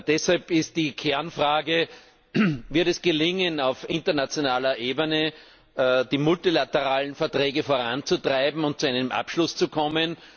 Deshalb ist die Kernfrage Wird es auf internationaler Ebene gelingen, die multilateralen Verträge voranzutreiben und zu einem Abschluss zu kommen?